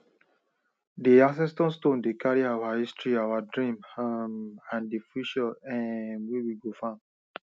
di ancestor stone dey carry our history our dreams um and di future um wey we go farm